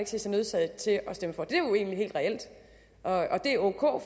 se sig nødsaget til at stemme for det er jo egentlig helt reelt og det er ok